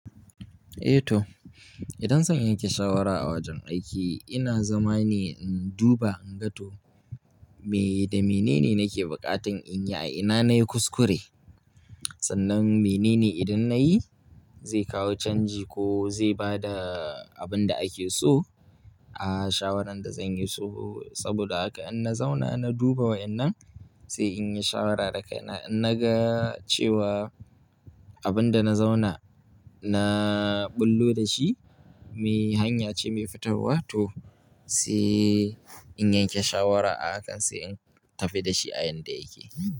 Eh toh, idan zan yanke shawara a wajen aiki, ina zama ne in duba in ga to me da mene ne nake buƙatan in yi a ina na yi kuskure. Sannan mene ne idan na yi zai kawo canji ko zai ba da abin da ake so a shawarar da zan yi. Saboda haka in na zauna na duba wa'inan sai in yi shawara daga ina. In na ga cewa abin da na zauna na bullo da shi, me hanya ce mai fitarwa toh sai in yanke shawara a hak sai in tafi da shi a yanda yake.